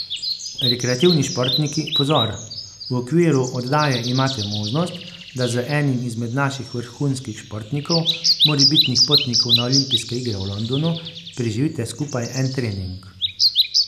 Rekreativni športniki, pozor, v okviru oddaje imate možnost, da z enim izmed naših vrhunskih športnikov, morebitnih potnikov na olimpijske igre v Londonu, preživite skupaj en trening.